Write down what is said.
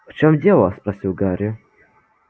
в чём дело спросил гарри